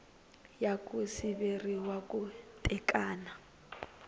ya ku siveriwa ku tekana